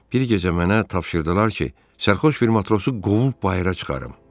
Bir gecə mənə tapşırdılar ki, sərxoş bir matrosu qovub bayıra çıxarım.